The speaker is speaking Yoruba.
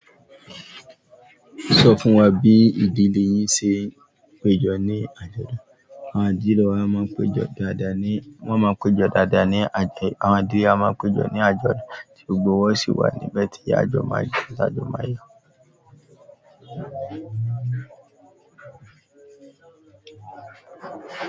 Sọ fún wa bí ìdílé yín ṣe péjọ ní àjọ̀dún. Àwọn idìlẹ wa máa ń péjọ dáadáa ní, wọ́n máa ń péjọ dáadáa ní àjọ̀yọ́ àwọn àdìẹ wa máa ń péjọ ní àjọ̀dún tí gbogbo wọn sì wà níbẹ̀ tí àjọ̀dún máa yọ̀.